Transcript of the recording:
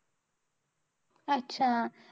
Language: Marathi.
अच्छा!